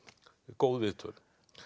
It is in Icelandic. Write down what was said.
góð viðtöl